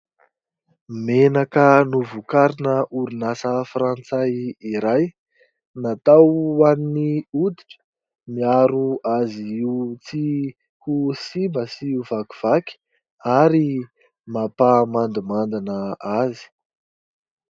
Menaka novokarina orinasa frantsary iray, natao ho an'ny hoditra, miaro azy ho tsy ho simba sy ho vakivaky ary mampamandimandina azy.